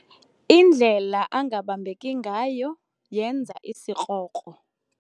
Indlela angabambeki ngayo yenza isikrokro.